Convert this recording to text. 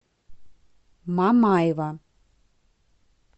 мамаева